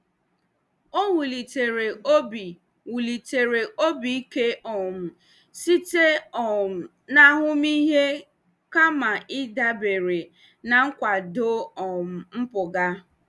Ọ wulitere obi wulitere obi ike um site um na ahụmịhe kama ịdabere na nkwado um mpụga.